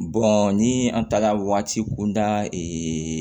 ni an taara waati kunda